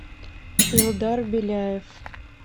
илдар беляев